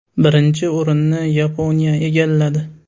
Birinchi o‘rinni Yaponiya egalladi.